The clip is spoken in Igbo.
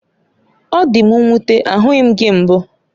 Ọ dị m nwute, ahụghị m gị mbụ